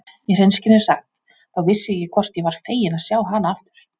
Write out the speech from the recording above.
Í hreinskilni sagt, þá vissi ég ekki hvort ég var feginn að sjá hana aftur.